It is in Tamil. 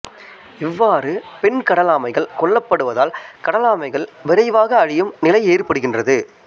இவ்வாறு பெண் கடல் ஆமைகள் கொல்லப்படுவதால் கடல் ஆமைகள் விரைவாக அழியும் நிலை ஏற்படுகின்றது